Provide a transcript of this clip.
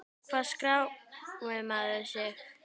Hvar skráir maður sig?